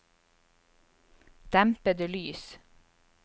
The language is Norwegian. dempede lys